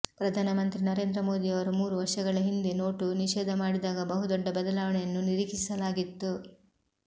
ಪ್ರಧಾನ ಮಂತ್ರಿ ನರೇಂದ್ರ ಮೋದಿಯವರು ಮೂರು ವರ್ಷಗಳ ಹಿಂದೆ ನೋಟು ನಿಷೇಧ ಮಾಡಿದಾಗ ಬಹುದೊಡ್ಡ ಬದಲಾವಣೆಯನ್ನು ನಿರೀಕ್ಷಿಸಲಾಗಿತ್ತು